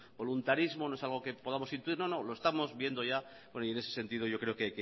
voluntarismo no es algo que podamos intuir no no lo estamos viendo ya y en ese sentido yo creo que